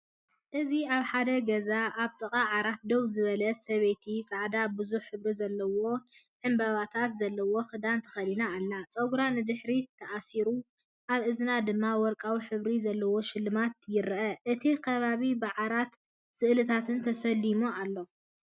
እዚ ኣብ ሓደ ገዛ ኣብ ጥቓ ዓራት ደው ዝበለ ሰበይቲ ጻዕዳን ብዙሕ ሕብሪ ዘለዎን ዕምባባታት ዘለዎ ክዳን ተኸዲና ኣላ። ጸጉራ ንድሕሪት ተኣሲሩ፡ ኣብ እዝና ድማ ወርቃዊ ሕብሪ ዘለዎ ሽልማት ይርአ። እቲ ከባቢ ብዓራትን ስእልታትን ተሰሊሙ ኣሎ።"